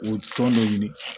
O tɔn de ɲini